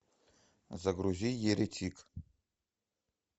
загрузи еретик